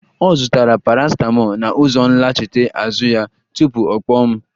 Ọ zụtara paracetamol na ụzọ nlachite azụ ya, tupu ọ kpọọ m